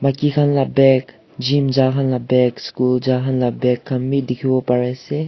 Maki khan la bag gym jakhan la bag school jakhan la bag beh dekhe po pare ase.